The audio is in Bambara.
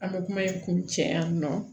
An bɛ kuma in kun cɛ yanni nɔ